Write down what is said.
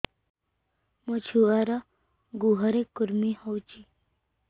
ମୋ ଛୁଆର୍ ଗୁହରେ କୁର୍ମି ହଉଚି